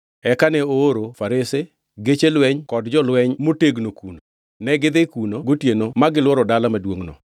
Eka ne ooro farese, geche lweny kod jolweny motegno kuno. Negidhi kuno gotieno ma gilworo dala maduongʼno.